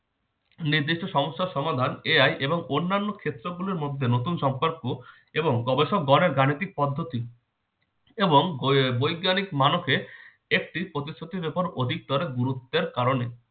নির্দিষ্ট সমস্যার সমাধান AI এবং অন্যান্য ক্ষেত্র গুলোর মধ্যে নতুন সম্পর্ক এবং গবেষকগণের গাণিতিক পদ্ধতি এবং বৈ বৈজ্ঞানিক মানবকে একটি প্রতিশ্রুতি যখন অধিকতর গুরুত্বের কারণে